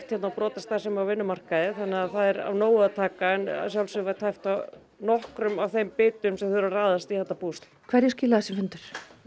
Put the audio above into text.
hérna á brotastarfsemi á vinnumarkaði þannig að það er alveg af nógu að taka en að sjálfsögðu var tæpt á nokkrum af þeim bitum sem þurfa raðast í þetta púsl hverju skilaði þessi fundur